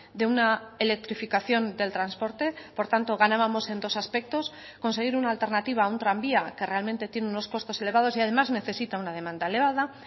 de una electrificación del transporte por tanto ganábamos en dos aspectos conseguir una alternativa a un tranvía que realmente tiene unos costos elevados y además necesita una demanda elevada